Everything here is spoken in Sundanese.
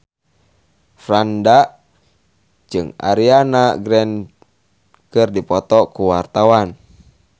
Franda jeung Ariana Grande keur dipoto ku wartawan